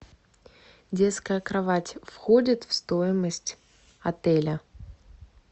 детская кровать входит в стоимость отеля